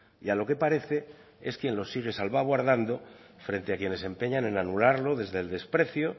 y a lo que parece es que lo sigue salvaguardando frente a quienes se empeñan en anularlo desde el desprecio